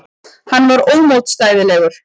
Hann var ómótstæðilegur.